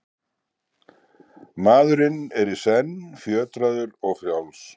Maðurinn er í senn fjötraður og frjáls.